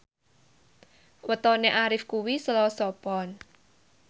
wetone Arif kuwi Selasa Pon